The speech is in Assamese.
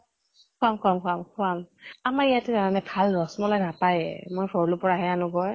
খোৱাম খোৱাম খোৱাম খোৱাম । আমাৰ ইয়াত জানানে ভাল ৰস মলাই নাপায়ে। মই ভৰলুৰ পৰাহে আনো গৈ।